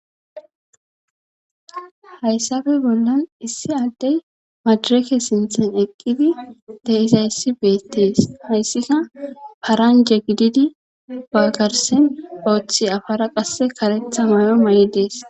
Hayssafe bollan issi addey madireke sinthen eqqidi deisayssi beettees hayssika paranje gididi baggarsen ooththi afara qasse karetha mayo ma'i dees.